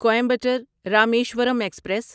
Coimbatore Rameswaram express